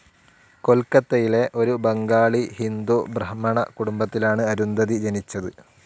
കൊൽക്കത്തയിലെ ഒരു ബംഗാളി ഹിന്ദു ബ്രാഹ്മണകുടുംബത്തിലാണ് അരുന്ധതി ജനിച്ചത്.